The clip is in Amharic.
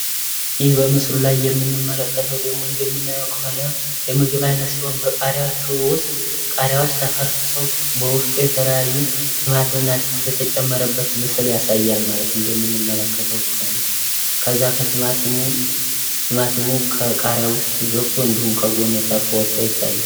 ይህ ምስሉ ላይ የምንመለከተው ደግሞ እንደምናየው ከሆን ሆነ የምግብ አይነቶች ሲሆን የቃሪያዎች ውስጥ ቃሪያዎች ተፈርክሰው በውስጡ የተለያዩ ቲማቲምና ሽንኩርት የተጨመረበት ምስል ያሳያል ማለት እንደምንመለከተው ከሆነ ከዛ ከቲማቲም ከቃሪያ ውስጥ ገብቶ እንዲሁም ከጎን ታርፎ ይታያል።